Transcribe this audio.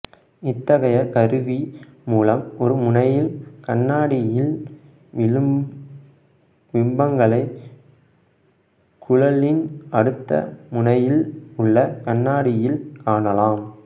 இத்தகைய கருவி மூலம் ஒரு முனையில் கண்ணாடியில் விழும் பிம்பங்களை குழலின் அடுத்த முனையில் உள்ள கண்ணாடியில் காணலாம்